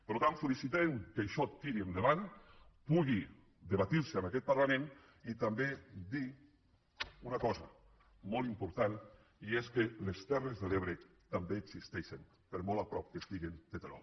per tant felicitem que això tiri endavant pugui debatre’s en aquest parlament i també dir una cosa molt important i és que les terres de l’ebre també existeixen per molt a prop que estiguen de terol